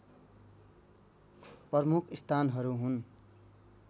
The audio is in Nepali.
प्रमुख स्थानहरू हुन्